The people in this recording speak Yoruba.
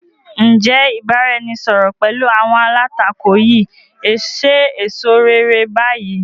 Ǹ jẹ́ ìbáraẹnisọọ̀rọ̀ pẹ̀lú àwọn alátakò yìí ṣe èso réré bayi?